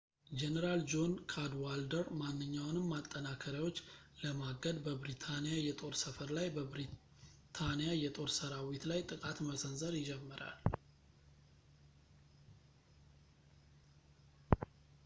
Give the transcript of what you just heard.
ጄኔራል ጆን ካድዋልደር ማናቸውንም ማጠናከሪያዎች ለማገድ በብሪታንያ የጦር ሰፈር ላይ በብሪታንያ የጦር ሰራዊት ላይ ጥቃት መሰንዘር ይጀምራል